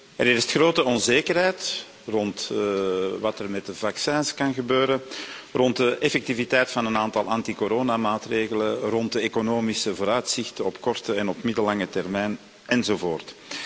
Er heerst grote onzekerheid rond wat er met de vaccins kan gebeuren, rond de effectiviteit van een aantal anticoronamaatregelen, rond de economische vooruitzichten op korte en op middellange termijn enzovoort.